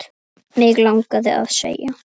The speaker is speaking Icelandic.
Mig langaði að segja